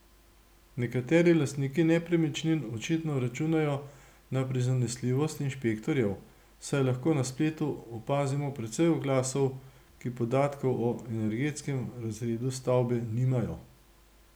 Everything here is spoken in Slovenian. Nekateri lastniki nepremičnin očitno računajo na prizanesljivost inšpektorjev, saj lahko na spletu opazimo precej oglasov, ki podatkov o energetskem razredu stavbe nimajo.